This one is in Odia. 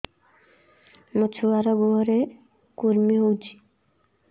ମୋ ଛୁଆର୍ ଗୁହରେ କୁର୍ମି ହଉଚି